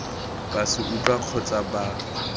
ba se utlwang kgotsa ba